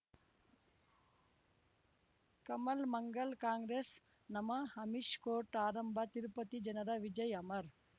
ಕಮಲ್ ಮಂಗಳ್ ಕಾಂಗ್ರೆಸ್ ನಮಃ ಅಮಿಷ್ ಕೋರ್ಟ್ ಆರಂಭ ತಿರುಪತಿ ಜನರ ವಿಜಯ್ ಅಮರ್